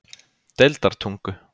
Deildartungu